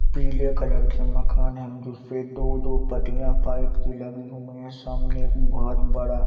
पीले कलर के मकान हैं जिससे दो-दो पतियाँ पाइप के लगी हुई है सामने अम बहोत बड़ा--